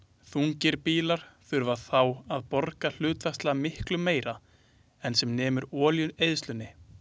Þungir bílar þurfa þá að borga hlutfallslega miklu meira en sem nemur olíueyðslunni.